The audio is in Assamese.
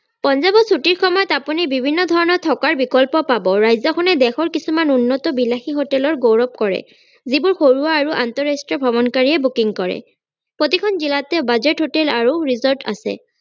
পঞ্জাৱত চুটিৰ সময়ত আপুনি বিভিন্ন ধৰণৰ থকাৰ বিকল্প পাব ৰাজ্যখনে দেশৰ কিছুমান উন্নত বিলাশী হোটেলৰ গৌৰৱ কৰে যিবোৰ ঘৰুৱা আৰু আন্তৰাষ্ট্ৰীয় ভ্ৰমনকাৰীয়ে booking কৰে প্ৰতিখন জিলাতে budget hotel আৰু resort আছে